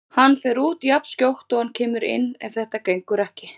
Hann fer út jafnskjótt og hann kemur inn ef þetta gengur ekki.